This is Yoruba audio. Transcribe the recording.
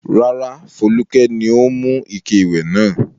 Rárá, Folúkẹ́ ni ó mú ike ìwẹ̀ náà.